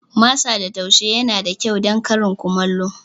Masa da taushe yana da kyau don karin kumallo.